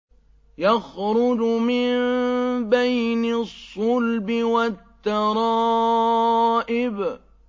يَخْرُجُ مِن بَيْنِ الصُّلْبِ وَالتَّرَائِبِ